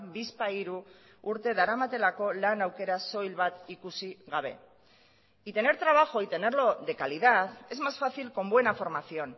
bizpahiru urte daramatelako lan aukera soil bat ikusi gabe y tener trabajo y tenerlo de calidad es más fácil con buena formación